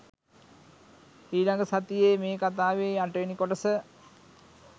ඊළඟ සතියේ මේ කතාවේ අටවෙනි කොටස